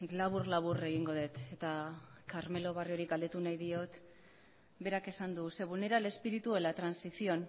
labur labur egingo dut eta carmelo barriori galdetu nahi diot berak esan du se vulnera el espíritu de la transición